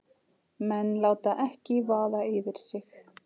Menn láta ekki vaða yfir sig